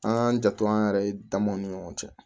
An k'an janto an yɛrɛ damaw ni ɲɔgɔn cɛ